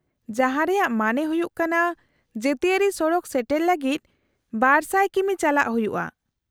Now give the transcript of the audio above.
-ᱡᱟᱦᱟᱸ ᱨᱮᱭᱟᱜ ᱢᱟᱱᱮ ᱦᱩᱭᱩᱜ ᱠᱟᱱᱟ ᱡᱟᱹᱛᱤᱭᱟᱹᱨᱤ ᱥᱚᱲᱚᱠ ᱥᱮᱴᱮᱨ ᱞᱟᱹᱜᱤᱫ ᱒᱐᱐ ᱠᱤᱢᱤ ᱪᱟᱞᱟᱜ ᱦᱩᱭᱩᱜᱼᱟ ᱾